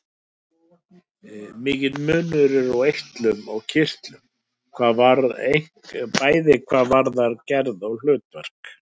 Mikill munur er á eitlum og kirtlum, bæði hvað varðar gerð og hlutverk.